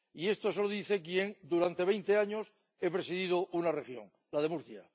Y esto se lo dice quien durante veinte años ha presidido una región, la de Murcia.